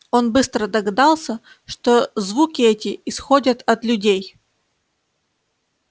он быстро догадался что звуки эти исходят от людей